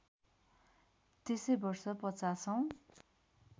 त्यसै वर्ष ५० औँ